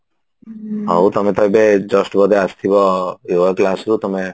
ହଉ ତମେ ତ ଏବେ just ବୋଧେ ଆସିଥିବ yoga classରୁ